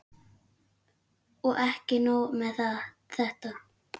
Og ekki nóg með þetta.